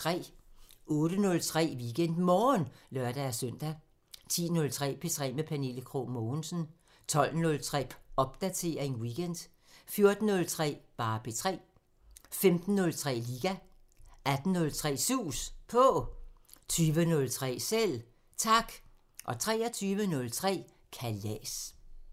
08:03: WeekendMorgen (lør-søn) 10:03: P3 med Pernille Krog Mogensen 12:03: Popdatering weekend 14:03: P3 15:03: Liga 18:03: Sus På 20:03: Selv Tak 23:03: Kalas